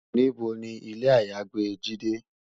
Nibó ni ilé àyágbé Jidé?